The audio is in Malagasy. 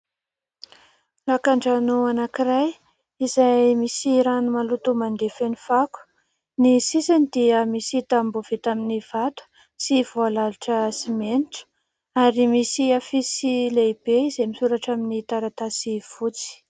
Lakandrano anankiray izay misy rano maloto mandeha feno fako. Ny sisiny dia misy tamboho vita amin'ny vato sy voalalotra simenitra ary misy afisy lehibe izay misoratra amin'ny taratasy fotsy.